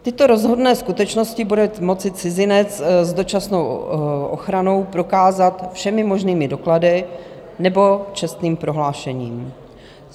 Tyto rozhodné skutečnosti bude moci cizinec s dočasnou ochranou prokázat všemi možnými doklady nebo čestným prohlášením.